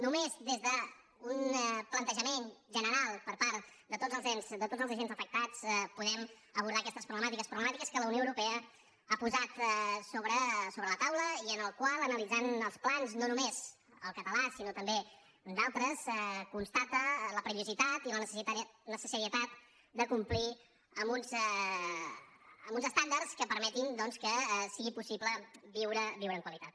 només des d’un plantejament general per part de tots els ens de tots els agents afectats podem abordar aquestes problemàtiques problemàtiques que la unió europea ha posat sobre la taula i en les quals analitzant els plans no només el català sinó també d’altres es constata la perillositat i la necessitat de complir amb uns estàndards que permetin doncs que sigui possible viure amb qualitat